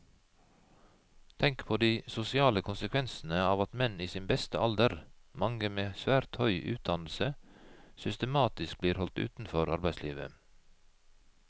Tenk på de sosiale konsekvensene av at menn i sin beste alder, mange med svært høy utdannelse, systematisk blir holdt utenfor arbeidslivet.